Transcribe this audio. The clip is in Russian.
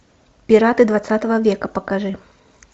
пираты двадцатого века покажи